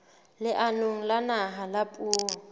leanong la naha la puo